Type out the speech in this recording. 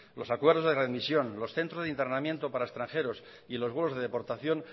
los acuerdos de readmisión los centros de internamiento para extranjeros y los vuelos de deportación